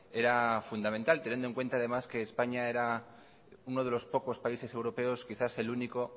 era fundamental teniendo en cuenta además que españa era uno de los pocos países europeos quizás el único